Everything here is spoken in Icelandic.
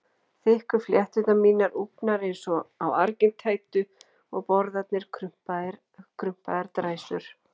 Þykku flétturnar mínar úfnar eins og á argintætu og borðarnir krumpaðar dræsur.